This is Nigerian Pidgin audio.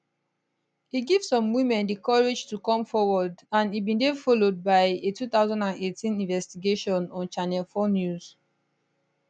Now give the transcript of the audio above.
e give some women di courage to come forward and e bin dey followed by a 2018 investigation on channel 4 news